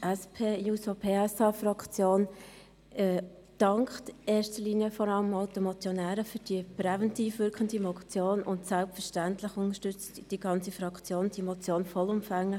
Die SP-JUSO-PSA dankt in erster Linie den Motionären für diese präventiv wirkende Motion, und selbstverständlich unterstützt die ganze Fraktion diese Motion vollumfänglich.